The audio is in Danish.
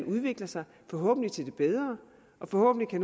udvikle sig forhåbentlig til det bedre forhåbentlig